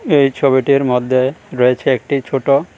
এই ছবিটির মধ্যে রয়েছে একটি ছোট--